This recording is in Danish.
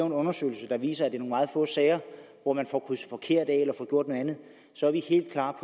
en undersøgelse der viser at det er i meget få sager hvor man får krydset forkert af eller får gjort noget andet så er vi helt klar